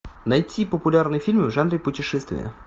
найти популярные фильмы в жанре путешествия